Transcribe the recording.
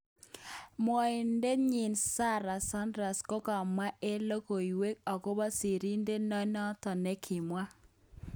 Mwoidet nyin Sarah Sanders kokamwan eng logoiwek okobo sirindet non nemakimwa.